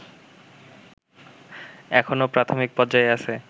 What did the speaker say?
এখনো প্রাথমিক পর্যায়ে আছে